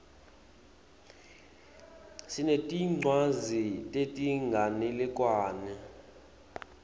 sinetincwadzi tetinganekwane